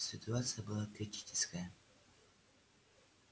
ситуация была критическая